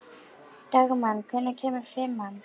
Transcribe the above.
Dagmann, hvenær kemur fimman?